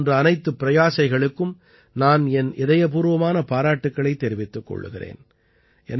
இவை போன்ற அனைத்து பிரயாசைகளுக்கும் நான் என் இதயபூர்வமான பாராட்டுக்களைத் தெரிவித்துக் கொள்கிறேன்